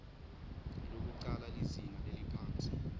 lwekucala lizinga leliphansi